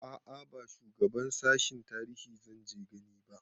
A'a ba shugaban sashen tarihi zanje gani ba